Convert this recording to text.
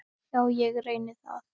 Já, ég reyni það.